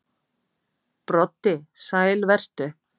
Broddi: Sæl vertu.